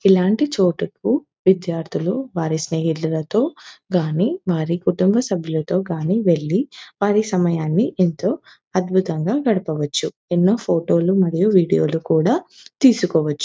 ఇలాంటీ చోటుకు విదేర్థులు వారి స్నేహితులతో గాని వారి కుటుంబ సభ్యులతో గాని వెళ్ళి వారి సమయాన్ని ఎంతో అద్భుతంగ గడపవచ్చు. ఎన్నో ఫోటో లు మరియు వీడియో లు కూడా తీసుకోవచ్చు.